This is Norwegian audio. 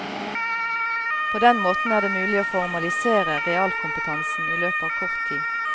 På den måten er det mulig å formalisere realkompetansen i løpet av kort tid.